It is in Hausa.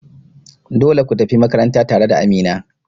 Dole kutafi makaranta tare da Amina.